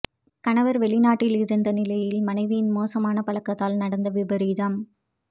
கணவர் வெளிநாட்டில் இருந்த நிலையில் மனைவியின் மோசமான பழக்கத்தால் நடந்த விபரீதம்